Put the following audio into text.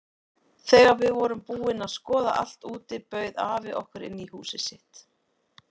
Þegar við vorum búin að skoða allt úti bauð afi okkur inn í húsið sitt.